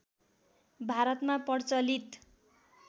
भारतमा प्रचलित